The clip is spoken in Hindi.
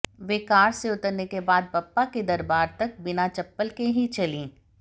वे कार से उतरने के बाद बप्पा के दरबार तक बिना चप्पल के ही चलीं